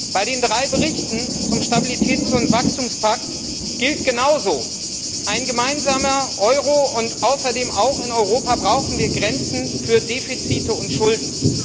Bei den drei Berichten zum Stabilitäts und Wachstumspakt gilt genauso Ein gemeinsamer Euro, und außerdem brauchen wir auch in Europa Grenzen für Defizite und Schulden.